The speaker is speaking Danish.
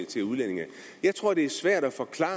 til udlændinge jeg tror det er svært at forklare